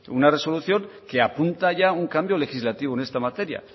una resolución que apunta ya un cambio legislativo en esta materia